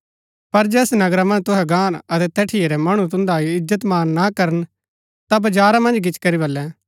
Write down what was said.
पर जैस नगरा मन्ज तुहै गाहन अतै तैठिया रै मणु तुन्दा इजत मान ना करन ता बजारा मन्ज गिच्ची करी वल्‍लैं